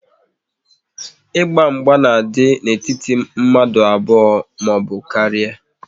Ịgba mgba na-adị n'etiti mmadụ abụọ maọbụ karịa